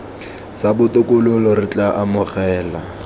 sa botokololo re tla amogela